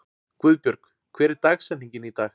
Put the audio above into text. Guðbjörg, hver er dagsetningin í dag?